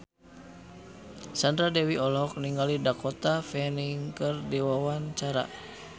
Sandra Dewi olohok ningali Dakota Fanning keur diwawancara